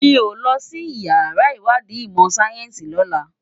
Mi ó lòsí iyàrá iwàdí imò sáyènsí lòlá